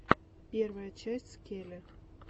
первая часть скеле